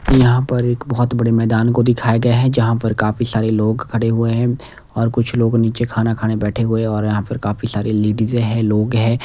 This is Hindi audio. यहाँ पर एक बहुत बड़े मैदान को दिखाया गया है जहाँ पर काफी सारे लोग खड़े हुए हैंऔर कुछ लोग नीचे खाना खाने बैठे हुए हैं और यहाँ पर काफी सारे लेडीज हैं लोग हैं।